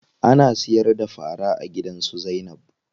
Ana siyar da fara a gidan su Zainab.